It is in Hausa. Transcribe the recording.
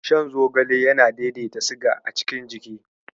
Shan Zogale yana daidaita siga a cikin jini.